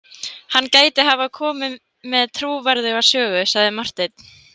Hann gæti hafa komið með trúverðuga sögu, sagði Marteinn.